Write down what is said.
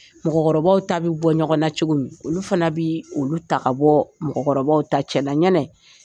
Mɔgɔkɔrɔbaw ta bɛ bɔ ɲɔgɔn na cogo min olu fana bɛ olu ta ka bɔ mɔgɔmɔrɔbaw ta cɛla yɛnɛ